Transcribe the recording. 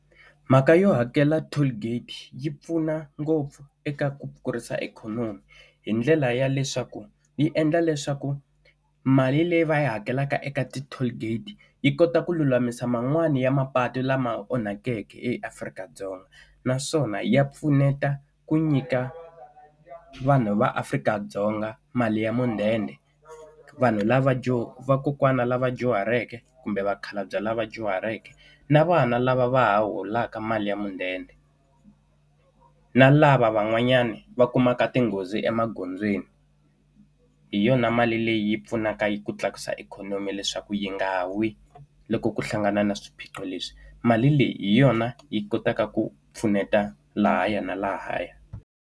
Mhaka yo hakela toll gate yi pfuna ngopfu eka ku kurisa ikhonomi. Hi ndlela ya leswaku yi endla leswaku mali leyi va yi hakelaka eka ti-toll gate, yi kota ku lulamisa man'wani ya mapatu lama onhakeke eAfrika-Dzonga. Naswona ya pfuneta ku nyika vanhu va Afrika-Dzonga mali ya mudende. Vanhu lava dyu vakokwani lava dyuhaleke kumbe vakhalabya lava dyuhaleke, na vana lava va ha holaka mali ya mudende. Na lava van'wanyani va kumaka tinghozi emagondzweni. Hi yona mali leyi pfunaka yi ku tlakusa ikhonomi leswaku yi nga wi loko ku hlangana na swiphiqo leswi. Mali leyi hi yona yi kotaka ku pfuneta lahaya na lahaya.